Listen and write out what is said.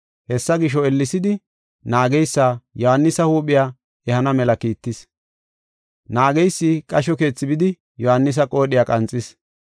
Hessa gisho, ellesidi naageysa Yohaanisa huuphiya ehana mela kiittis. Naageysi qasho keethi bidi Yohaanisa qoodhiya qanxis.